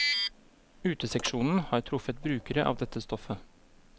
Uteseksjonen har truffet brukere av dette stoffet.